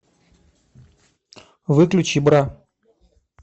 выключи бра